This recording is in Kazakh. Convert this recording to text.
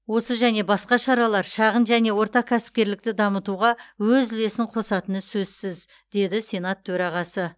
осы және басқа шаралар шағын және орта кәсіпкерлікті дамытуға өз үлесін қосатыны сөзсіз деді сенат төрағасы